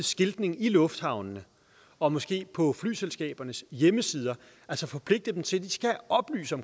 skiltning i lufthavnene og måske på flyselskabernes hjemmesider altså forpligte dem til at oplyse